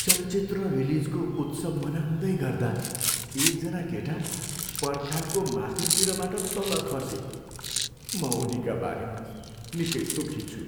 चलचित्र रिलिजको उत्सव मनाउँदै गर्दा एकजना केटा पर्खालको माथिल्तिरबाट तल खसे। म उनीका बारेमा निकै दुःखी छु।